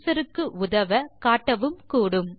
user க்கு உதவ காட்டவும் கூடும்